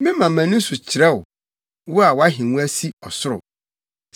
Mema mʼani so kyerɛ wo, wo a wʼahengua si ɔsoro.